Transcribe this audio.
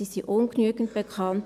Sie sind ungenügend bekannt.